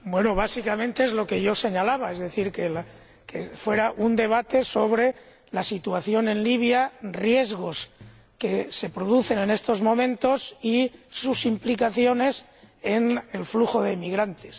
Bueno, básicamente es lo que yo señalaba, es decir, que fuera un debate sobre la situación en Libia riesgos que se producen en estos momentos y sus implicaciones para el flujo de inmigrantes.